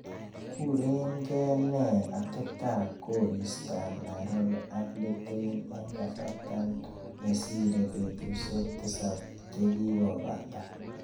Kuren gee nee ateptap koristap Nairobi ak Litein eng' kasarta ne sire petusiek tisap chegigobata